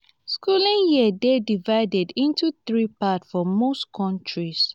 schooling year dey divided into three parts for most countries